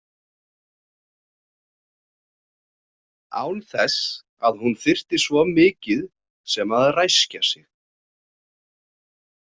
Án þess að hún þyrfti svo mikið sem að ræskja sig.